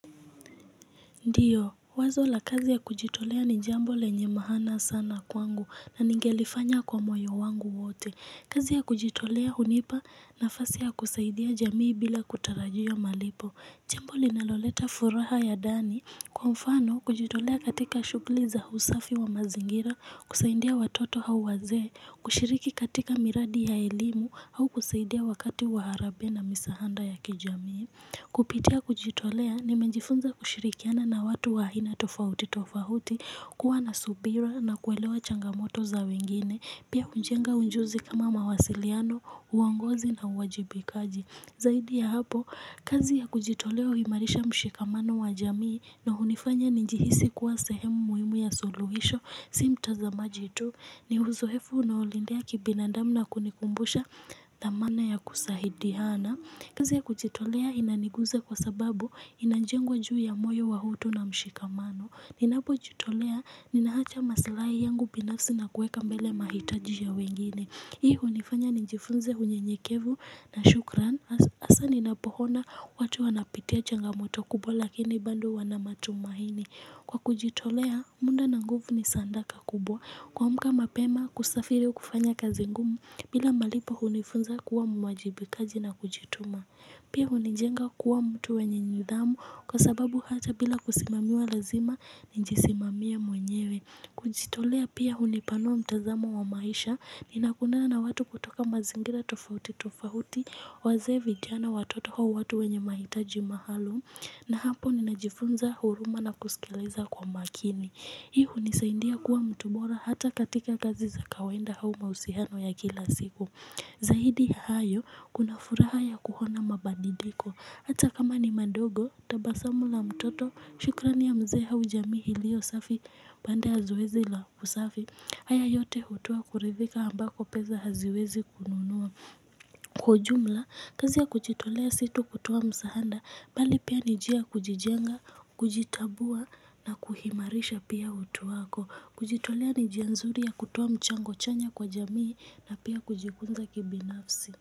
Ndiyo, wazo la kazi ya kujitolea ni jambo lenye maana sana kwangu na ningelifanya kwa moyo wangu wote. Kazi ya kujitolea hunipa na fasi ya kusaidia jamii bila kutarajia malipo. Jambo linaloleta furaha ya dani. Kwa mfano, kujitolea katika shuguli za usafi wa mazingira, kusaidia watoto au wazee, kushiriki katika miradi ya elimu au kusaidia wakati waharabe na misahanda ya kijamii. Kupitia kujitolea nimenjifunza kushirikiana na watu wa aina tofahuti tofahuti kuwa na subira na kuelewa changamoto za wengine pia hunjenga unjuzi kama mawasiliano uongozi na uwajibikaji Zahidi ya hapo kazi ya kujitolea uimarisha mshikamano wa jamii na hunifanya ninjihisi kuwa sehemu muhimu ya suluhisho si mtazamaji tu ni huzohefu unaolindea kibinandamu na kunikumbusha thamana ya kusahidihana kazi ya kujitolea inaniguza kwa sababu inanjengwa juu ya moyo wa utu na mshikamano. Ninapojitolea, ninaacha maslahi yangu binafsi na kueka mbele mahitaji ya wengine. Hii unifanya nijifunze unye nyekevu na shukran. Asa ninapohona watu wanapitia changamoto kubwa lakini bado wanamatumahini. Kwa kujitolea, munda na nguvu ni sandaka kubwa. Kuamka mapema kusafiri kufanya kazi ngumu bila malipo hunifunza kuwa mwajibikaji na kujituma Pia hunijenga kuwa mtu wenye nidhamu kwa sababu hata bila kusimamiwa lazima ninjisimamie mwenyewe kujitolea pia hunipanua mtazamo wa maisha ni nakutana na watu kutoka mazingira tofauti tofauti Wazee vijana watoto au watu wenye mahitaji maalum na hapo ninajifunza huruma na kusikiliza kwa makini Hii unisaindia kuwa mtu bora hata katika kazi za kawainda au mausihano ya kila siku. Zahidi ya hayo, kuna furaha ya kuhona mabandiliko. Hata kama ni madogo, tabasamu la mtoto, shukrani ya mzee au jamii hilio safi, baada ya zoezi la usafi. Haya yote hutoa kuridhika ambako peza haziwezi kununua. Kwa ujumla, kazi ya kujitolea si tu kutoa msahanda bali pia ni jia kujijenga, kujitambua na kuhimarisha pia utu wako. Kujitolea ni jia nzuri ya kutoa mchango chanya kwa jamii na pia kujikunza kibinafsi.